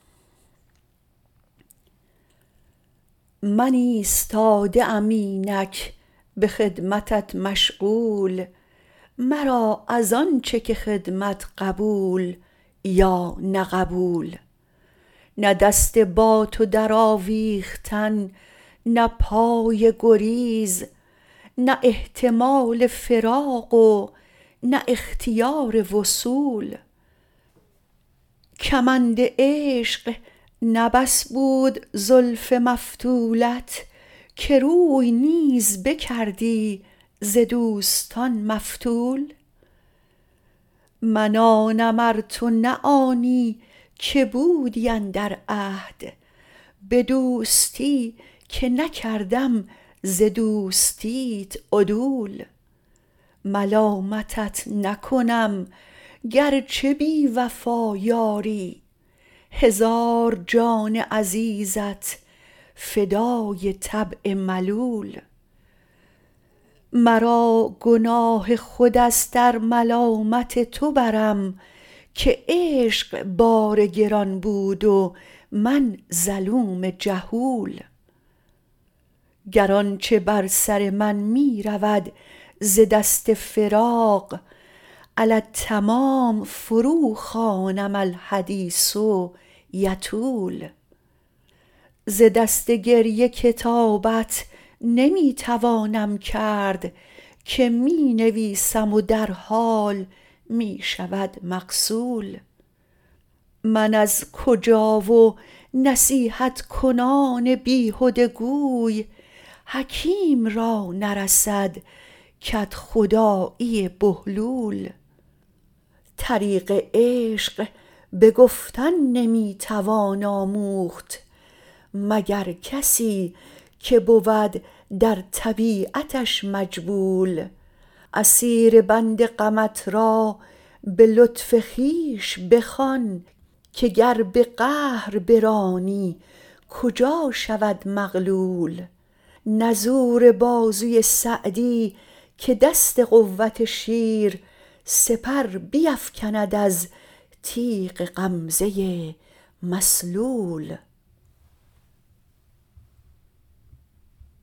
من ایستاده ام اینک به خدمتت مشغول مرا از آن چه که خدمت قبول یا نه قبول نه دست با تو درآویختن نه پای گریز نه احتمال فراق و نه اختیار وصول کمند عشق نه بس بود زلف مفتولت که روی نیز بکردی ز دوستان مفتول من آنم ار تو نه آنی که بودی اندر عهد به دوستی که نکردم ز دوستیت عدول ملامتت نکنم گر چه بی وفا یاری هزار جان عزیزت فدای طبع ملول مرا گناه خود است ار ملامت تو برم که عشق بار گران بود و من ظلوم جهول گر آن چه بر سر من می رود ز دست فراق علی التمام فروخوانم الحدیث یطول ز دست گریه کتابت نمی توانم کرد که می نویسم و در حال می شود مغسول من از کجا و نصیحت کنان بیهده گوی حکیم را نرسد کدخدایی بهلول طریق عشق به گفتن نمی توان آموخت مگر کسی که بود در طبیعتش مجبول اسیر بند غمت را به لطف خویش بخوان که گر به قهر برانی کجا شود مغلول نه زور بازوی سعدی که دست قوت شیر سپر بیفکند از تیغ غمزه مسلول